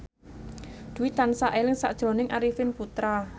Dwi tansah eling sakjroning Arifin Putra